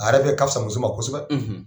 A yɛrɛ ka fisa muso ma kosɛbɛ.